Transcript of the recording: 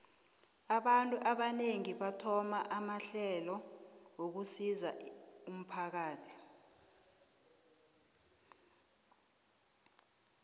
abantu abanengi bathoma amahlelo wokusizo umphakathi